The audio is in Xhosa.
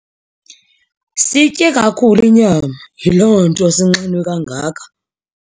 Siyitye kakhulu inyama, yiloo nto sinxanwe kangaka.